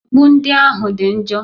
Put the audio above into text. Mkpu ndị ahụ dị njọ.